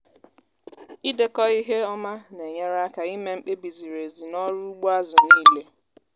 ịdekọ ihe ọma na-enyere aka ime mkpebi ziri ezi n’ọrụ ugbo azụ niile.